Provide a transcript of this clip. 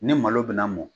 Ni malo bɛna mɔn